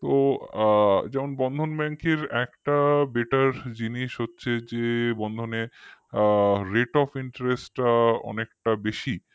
তো আ যেমন Bandhan Bank র একটা better জিনিস হচ্ছে যে bandhan এ rate of interest টা অনেকটা বেশি